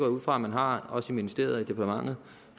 ud fra man har også i ministeriet og departementet